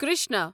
Krishna